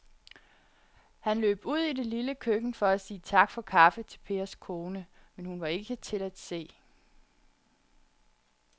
Han løb ud i det lille køkken for at sige tak for kaffe til Pers kone, men hun var ikke til at se.